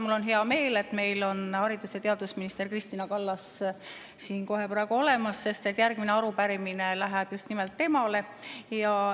Mul on hea meel, et meil on haridus- ja teadusminister Kristina Kallas kohe siin olemas, sest järgmine arupärimine läheb just nimelt temale.